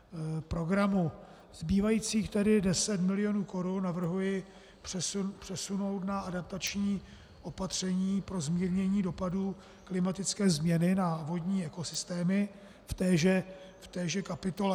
Zbývajících tedy 10 milionů korun navrhuji přesunout na adaptační opatření pro zmírnění dopadů klimatické změny na vodní ekosystémy v téže kapitole.